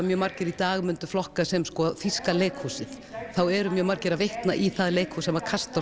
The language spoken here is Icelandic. mjög margir í dag myndu flokka sem sko þýska leikhúsið þá eru mjög margir að vitna í það leikhús sem